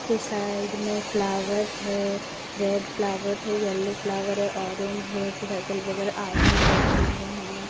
ये साइड में फ्लावर है रेड फ्लावर है येलो फ्लावर है ऑरेंज है फिर अगल बगल आदमी बैठे हुए हैं।